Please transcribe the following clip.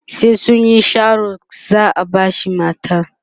sai sunyi Sharo za'a bashi mata